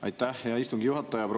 Aitäh, hea istungi juhataja!